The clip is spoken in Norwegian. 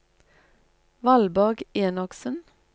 Valborg Enoksen